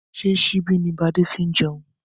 Ṣé síbi ni bade fi ń jẹun?